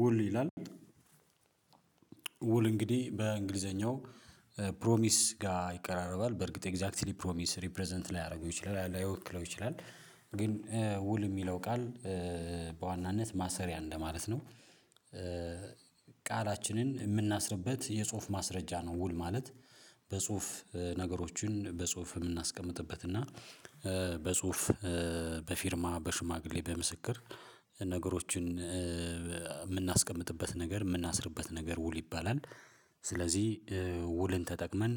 ውል ይላል ውል እንግዲህ በእንግሊዘኛው ጋር ይቀራረባል በርግጥ ኤግዛክትሊ ፕሮሚስ ሪፕረዘንት ላይ ያደርገው ይችላል ላይወክለው ይችላል ግን ውል የሚለው ቃል በዋናነት ማሰሪያ እንደማለት ነው። ቃላችንን የምናስርበት የጽሁፍ ማስረጃ ነው ውል ማለት በጽሁፍ ነገሮችን በጽሁፍ የምናስቀምጥበት እና በጽሁፍ በፊርማ በሽማግሌ በምስክር ነገሮችን የምናስቀምጥበት ነገር የምናስርበት ነገር ውል ይባላል ስለዚህ ውልን ተጠቅመን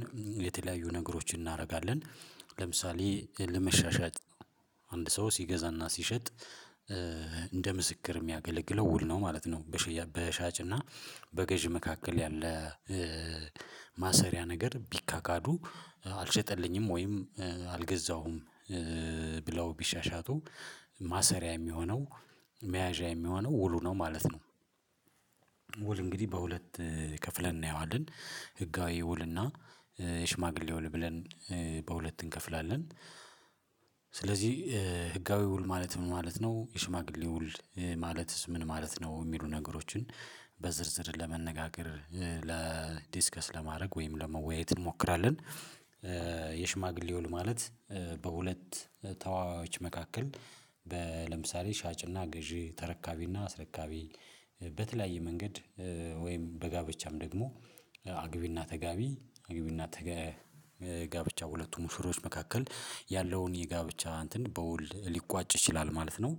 የተለያዩ ነገሮችን እናደርጋለን ለምሳሌ ለመሻሻጥ አንድ ሰው ሲገዛና ሲሸጥ እንደ ምስክር የሚያገለግለው ውል ነው ማለት ነው። በሻጭና በገዢ መካከል ያለ ማሰሪያ ነገር ቢካካዱ አልሸጠልኝም ወይም አልገዛውም ብለው ቢሻሻጡ ማሰሪያ የሚሆነው መያዣ የሚሆነው ውሉ ነው ማለት ነው። ውል እንግዲህ በሁለት ከፍለን እናየዋለን ህጋዊ ውልና የሽማግሌ ውል ብለን በሁለት እንከፍላለን። ስለዚህ ህጋዊ ውል ማለት ምን ማለት ነው የሽማግሌ ውል ማለትስ ምን ማለት ነው የሚሉ ነገሮችን በዝርዝር ለመነጋገር ለዲስከስ ለማድረግ ወይም ለመወያየት እንሞክራለን። የሽማግሌ ውል ማለት በሁለት ተዋዋዮች መካከል ለምሳሌ ሻጭና ገዢ ተረካቢና አስረካቢ በተለያየ መንገድ ወይም በጋብቻም ደግሞ አግቢና ተጋቢ አግቢና ጋብቻ ሁለቱም ሙሽሮች መካከል ያለውን የጋብቻ እንትን በውል ሊቋጭ ይችላል ማለት ነው።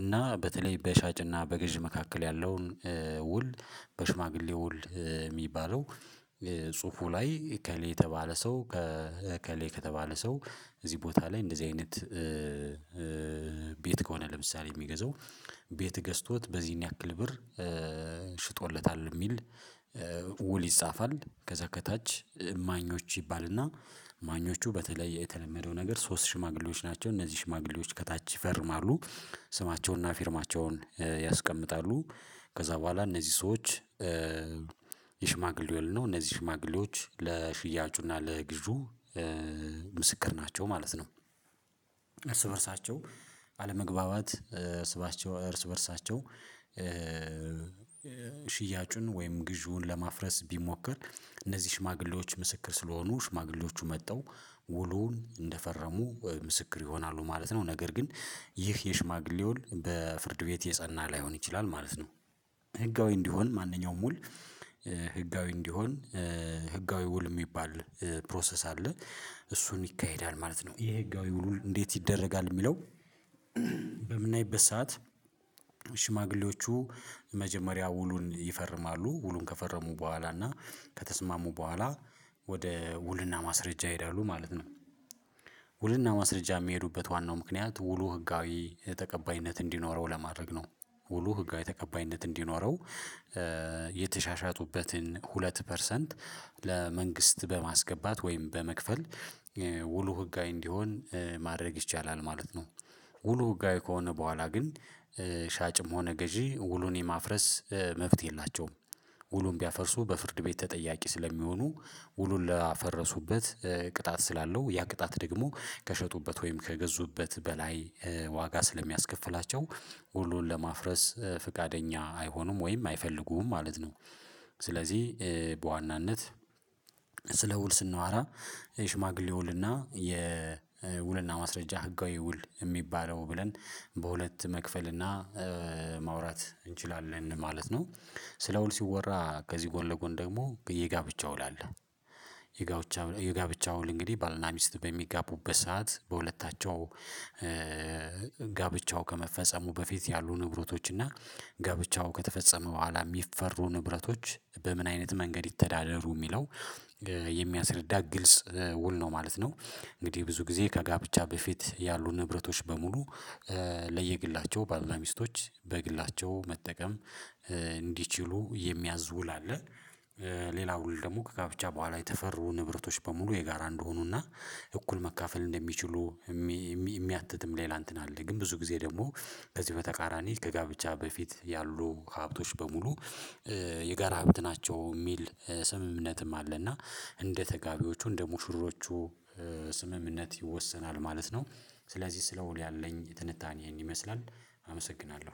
እና በተለይ በሻጭና በገዢ መካከል ያለውን ውል በሽማግሌ ውል የሚባለው ጽሁፉ ላይ ከሌ የተባለ ሰው ከሌ ከተባለ ሰው እዚህ ቦታ ላይ እንደዚህ አይነት ቤት ከሆነ ለምሳሌ የሚገዛው ቤት ገዝቶት በዚህን ያክል ብር ሽጦለታል የሚል ውል ይጻፋል ከዛ ከታች እማኞች ይባልና እማኞቹ በተለይ የተለመደው ነገር ሶስት ሽማግሌዎች ናቸው እነዚህ ሽማግሌዎች ከታች ይፈርማሉ ስማቸውና ፊርማቸውን ያስቀምጣሉ ከዛ በኋላ እነዚህ ሰዎች የሽማግሌ ውል ነው እነዚህ ሽማግሌዎች ለሽያጩና ለግዢው ምስክር ናቸው ማለት ነው። እርስ በእርሳቸው አለመግባባት እርስ በእርሳቸው ሽያጩን ወይም ግዢውን ለማፍረስ ቢሞክር እነዚህ ሽማግሌዎች ምስክር ስለሆኑ ሽማግሌዎቹ መጡ ውሉን እንደፈረሙ ምስክር ይሆናሉ ማለት ነው ነገር ግን ይህ የሽማግሌ ውል በፍርድ ቤት የጸና ላይሆን ይችላል ማለት ነው። ህጋዊ እንዲሆን ማንኛውም ውል ህጋዊ እንዲሆን ህጋዊ ውል የሚባል ፕሮሰስ አለ እሱን ይካሄዳል ማለት ነው የህጋዊ ውሉን እንዴት ይደረጋል የሚለው በምናይበት ሰዓት መጀመሪያ ውሉን ይፈርማሉ ውሉን ከፈረሙ በኋላ እና ከተስማሙ በኋላ ወደ ውልና ማስረጃ ይሄዳሉ ማለት ነው። ውልና ማስረጃ የሚሄዱበት ዋናው ምክንያት ውሉ ህጋዊ ተቀባይነት እንዲኖረው ለማድረግ ነው ውሉ ህጋዊ ተቀባይነት እንዲኖረው ሁለት ፐርሰንት ለመንግስት በማስገባት ወይም በመክፈል ውሉ ህጋዊ እንዲሆን ማድረግ ይቻላል ማለት ነው። ውሉ ህጋዊ ከሆነ በኋላ ግን ሻጭም ሆነ ገዢ ውሉን የማፍረስ መብት የላቸውም ውሉን ቢያፈርሱ በፍርድ ቤት ተጠያቂ ስለሚሆኑ ውሉን ላፈረሱበት ቅጣት ስላለው ያ ቅጣት ደግሞ ከሸጡበት ወይም ከገዙበት በላይ ዋጋ ስለሚያስከፍላቸው ውሉን ለማፍረስ ፈቃደኛ አይሆኑም ወይም አይፈልጉም ማለት ነው። ስለዚህ በዋናነት ስለ ውል ስናወራ የሽማግሌ ውልና የውልና ማስረጃ ህጋዊ ውል የሚባለው ብለን በሁለት መክፈልና ማውራት እንችላለን ማለት ነው። ስለ ውል ሲወራ ከዚህ ጎን ለጎን ደግሞ የጋብቻው ላለ የጋብቻ ውል እንግዲህ ባልና ሚስት በሚጋቡበት ሰዓት በሁለታቸው ጋብቻው ከመፈጸሙ በፊት ያሉ ንብረቶች እና ጋብቻው ከተፈጸመ በኋላ የሚፈሩ ንብረቶች በምን አይነት መንገድ ይተዳደሩ የሚለው የሚያስረዳ ግልጽ ውል ነው ማለት ነው። እንግዲህ ብዙ ጊዜ ከጋብቻ በፊት ያሉ ንብረቶች በሙሉ ለየግላቸው ባልና ሚስቶች በግላቸው መጠቀም እንዲችሉ የሚያዝውል አለ። ሌላ ውል ደግሞ ከጋብቻ በኋላ የተፈሩ ንብረቶች በሙሉ የጋራ እንደሆኑና እኩል መካፈል እንደሚችሉ የሚያትትም ሌላ እንትን አለ ግን ብዙ ጊዜ ደግሞ ከዚህ በተቃራኒ ከጋብቻ በፊት ያሉ ሀብቶች በሙሉ የጋራ ሀብት ናቸው የሚል ስምምነትም አለ እና እንደ ተጋቢዎቹ እንደ ሙሽሮቹ ስምምነት ይወሰናል ማለት ነው። ስለዚህ ስለ ውል ያለኝ ትንታኔ ይሄን ይመስላል። አመሰግናለሁ